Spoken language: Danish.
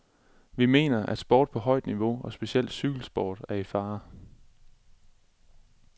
Vi mener, at sport på højt niveau og specielt cykelsport er i fare.